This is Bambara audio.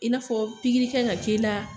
I n'a fɔ pikiri k'an ka k'i la.